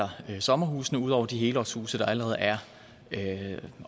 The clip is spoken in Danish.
sommerhuse ud over de helårshuse der allerede er